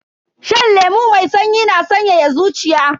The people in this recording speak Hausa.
Shan lemu mai sanyi na sanyaya zuciya.